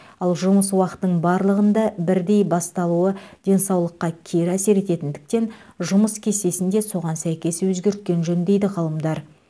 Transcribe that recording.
ал жұмыс уақытының барлығында бірдей басталуы денсаулыққа кері әсер ететіндіктен жұмыс кестесін де соған сәйкес өзгерткен жөн дейді ғалымдар